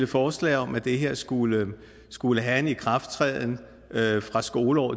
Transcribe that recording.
forslag om at det her skulle skulle have en ikrafttræden fra skoleåret